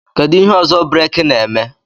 Kedu ihe ọzọ breeki aka na-eme